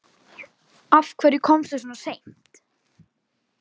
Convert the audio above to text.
Af hverju komstu svona seint?